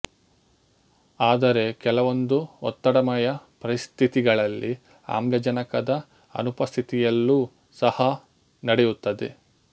ಆದರೆ ಕೆಲವೊಂದು ಒತ್ತಡಮಯ ಪರಿಸ್ಥಿತಿಗಳಲ್ಲಿ ಆಮ್ಲಜನಕದ ಅನುಪಸ್ಥಿತಿಯಲ್ಲೂ ಸಹಾ ನಡೆಯುತ್ತದೆ